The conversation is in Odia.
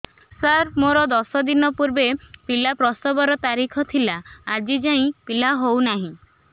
ସାର ମୋର ଦଶ ଦିନ ପୂର୍ବ ପିଲା ପ୍ରସଵ ର ତାରିଖ ଥିଲା ଆଜି ଯାଇଁ ପିଲା ହଉ ନାହିଁ